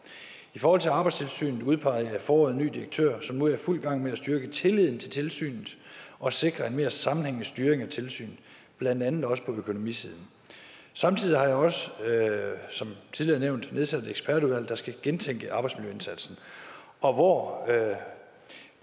i forhold til arbejdstilsynet udpegede jeg i foråret en ny direktør som nu er i fuld gang med at styrke tilliden til tilsynet og sikre en mere sammenhængende styring af tilsynet blandt andet også på økonomisiden samtidig har jeg også som tidligere nævnt nedsat et ekspertudvalg der skal gentænke arbejdsmiljøindsatsen og hvor